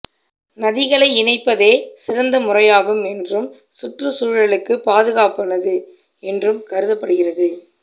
நதிகளை இணைப்பதே சிறந்த முறையாகும் என்றும் சுற்றுச்சூழலுக்கு பாதுகாப்பானது என்றும் கருதப்படுகிறது